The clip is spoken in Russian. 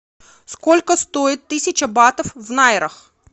сколько стоит тысяча батов в найрах